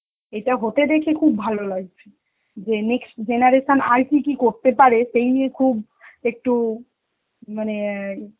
এটা হতে দেখে খুব ভালো লাগছে, যে next generation আর কি কি করতে পারে সেই নিয়ে খুব একটু মানে অ্যাঁ